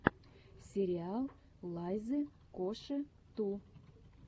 сериал лайзы коши ту